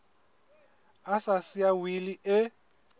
a sa siya wili e